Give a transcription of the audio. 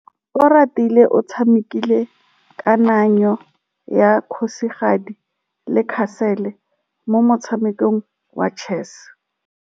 Oratile o tshamekile kananyô ya kgosigadi le khasêlê mo motshamekong wa chess.